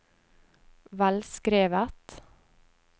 velskrevet